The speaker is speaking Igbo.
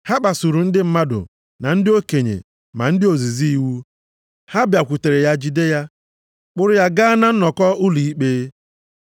Ha kpasuru ndị mmadụ, ma ndị okenye ma ndị ozizi iwu. Ha bịakwutere ya jide ya, kpụrụ ya gaa na nnọkọ ụlọ ikpe.